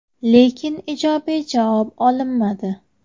Lekin ijobiy javob olinmadi.